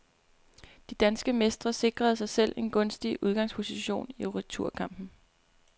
De danske mestre sikrede sig selv en gunstig udgangsposition i returkampen.